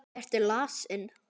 Ertu lasin?